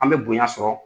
An bɛ bonya sɔrɔ